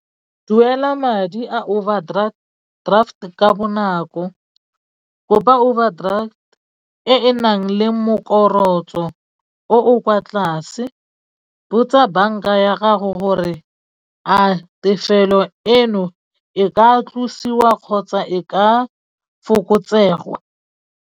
Duela madi a overdraft ka bonako, kopa overdraft e enang le morokotso o o kwa tlase botsa banka ya gago gore a tefelo eno e ka tlosiwa kgotsa e ka fokotsega.